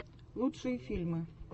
лучшие фильмы